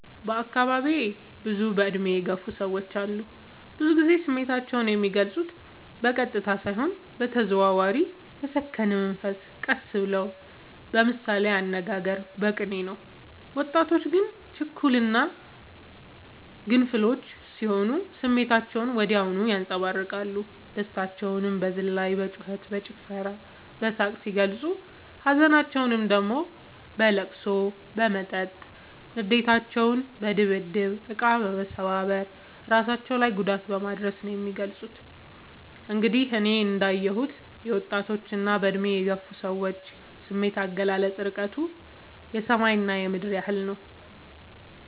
በአካባቢዬ ብዙ እድሜ የገፉ ሰዎች አሉ። ብዙ ግዜ ስሜታቸው የሚልፁት በቀጥታ ሳይሆን በተዘዋዋሪ በሰከነ መንፈስ ቀስ ብለው በምሳሌያዊ አነጋገር በቅኔ ነው። ወጣቶች ግን ችኩል እና ግንፍሎች ስሆኑ ስሜታቸውን ወዲያው ያንፀባርቃሉ። ደስታቸውን በዝላይ በጩከት በጭፈራ በሳቅ ሲገልፁ ሀዘናቸውን ደግሞ በለቅሶ በመጠጥ ንዴታቸውን በድብድብ እቃ መሰባበር እራሳቸው ላይ ጉዳት በማድረስ ነው የሚገልፁት። እንግዲህ እኔ እንዳ የሁት የወጣቶች እና በእድሜ የገፉ ሰዎች ስሜት አገላለፅ እርቀቱ የሰማይ እና የምድር ያህል ነው።